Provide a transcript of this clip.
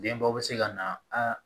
Denba bɛ se ka na a